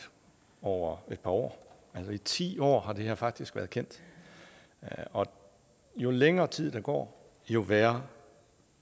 over et par år i ti år har det her faktisk været kendt og jo længere tid der går jo værre